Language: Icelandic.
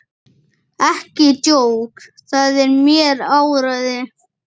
Ekki jók það mér áræði.